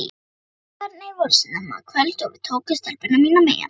Tónleikarnir voru snemma kvölds og við tókum stelpuna mína með.